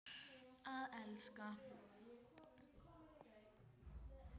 Að elska.